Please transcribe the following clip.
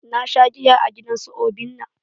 Na sha giya a gidan su obinna.